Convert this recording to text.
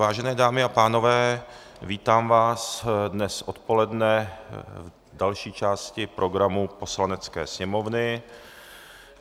Vážené dámy a pánové, vítám vás dnes odpoledne v další části programu Poslanecké sněmovny.